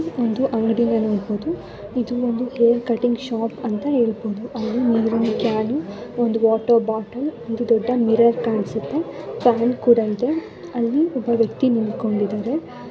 ಇದು ಒಂದು ಅಂಗಡಿ ಇರಬಹುದು. ಇದು ಒಂದು ಹೇರ್ ಕಟಿಂಗ್ ಶಾಪ್ ಅಂತ ಹೇಳಬಹುದು. ಅಲ್ಲಿ ಒಂದು ಕ್ಯಾನ್ ಒಂದು ವಾಟರ್ ಬಾಟಲ್ ಒಂದು ದೊಡ್ಡ ಮಿರರ್ ಕಾಣಿಸುತ್ತದೆ. ಫ್ಯಾನ್ ಕೂಡ ಇದೆ ಅಲ್ಲಿ ಒಬ್ಬ ವ್ಯಕ್ತಿ ನಿಂತುಕೊಂಡಿದ್ದಾನೆ.